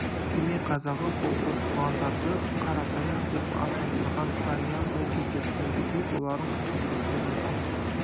семей қазағы бұл оқығандарды қаратаяқ деп атандырған данияр ол кезде бүгінгідей боларын қайдан білсін бұны әкеп